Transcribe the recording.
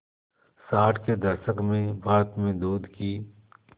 साठ के दशक में भारत में दूध की